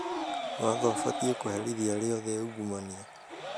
Watho ũbatiĩ kũherithia arĩa othe aungumania